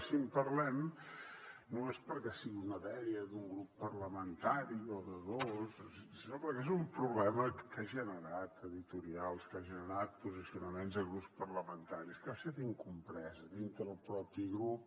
i si en parlem no és perquè sigui una dèria d’un grup parlamentari o de dos sinó perquè és un problema que ha generat editorials que ha generat posicionaments de grups parlamentaris que ha estat incomprès dins del propi grup